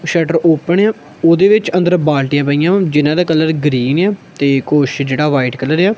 Shutter open ਆ ਓਹਦੇ ਵਿੱਚ ਅੰਦਰ ਬਾਲਟੀਆਂ ਪਈਆਂ ਹੋਈਂ ਜਿਹਨਾਂ ਦਾ ਕਲਰ ਗ੍ਰੀਨ ਆ ਤੇ ਕੁੱਛ ਜੇਹੜਾ ਯਾ ਵ੍ਹਾਈਟ ਕਲਰ ਯਾ।